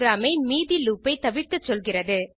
program ஐ மீதி loop ஐ தவிர்க்கச்சொல்லுகிறது